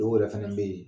Dɔw yɛrɛ fɛnɛ bɛ ye